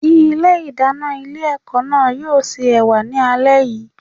Ilé ìdáná ilé ẹ̀kọ́ náà yóò se Ẹ̀wà ni alẹ́ yìí.